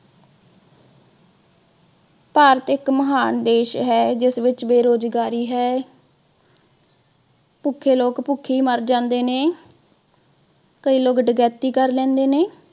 ਭਾਰਤ ਇਕ ਮਹਾਨ ਦੇਸ਼ ਹੈ ਜਿਸ ਵਿਚ ਬੇਰੁਜ਼ਗਾਰੀ ਹੈ। ਭੁੱਖੇ ਲੋਕ ਭੁੱਖੇ ਮਰ ਜਾਂਦੇ ਨੇ। ਕਈ ਲੋਕ ਡਕੈਤੀ ਕਰ ਲੈਂਦੇ ਨੇ।